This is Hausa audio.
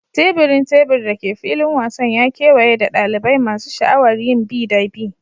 Teburin tebur da ke filin wasan ya kewaye da dalibai masu sha'awar yin bi da bi.